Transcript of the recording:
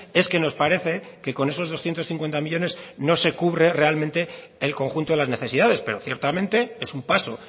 es que nos parece que con esos doscientos cincuenta millónes no se cubre realmente el conjunto de las necesidades pero ciertamente es un paso